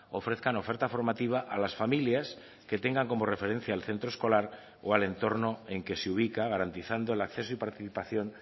ofrezcan oferta formativa a las familias que tengan como referencia el centro escolar o al entorno en que se ubica garantizando el acceso y participación